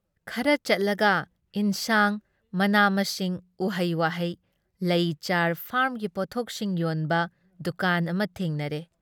ꯈꯔ ꯆꯠꯂꯒ ꯏꯟꯁꯥꯡ, ꯃꯅꯥ ꯃꯁꯤꯡ ꯎꯍꯩ ꯋꯥꯍꯩ, ꯂꯩ ꯆꯥꯔ, ꯐꯥꯔꯝꯒꯤ ꯄꯣꯠꯊꯣꯛꯁꯤꯡ ꯌꯣꯟꯕ ꯗꯨꯀꯥꯟ ꯑꯃ ꯊꯦꯡꯅꯔꯦ ꯫